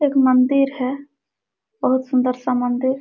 एक मंदिर है बहुत सुन्दर सा मंदिर--